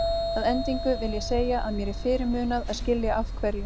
Að endingu vil ég segja að mér er fyrirmunað að skilja af hverju